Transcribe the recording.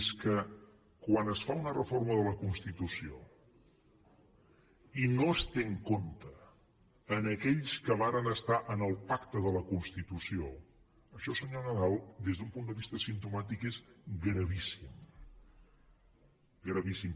és que quan es fa una reforma de la constitució i no es tenen en compte aquells que varen estar al pacte de la constitució això senyor nadal des d’un punt de vista simptomàtic és gravíssim gravíssim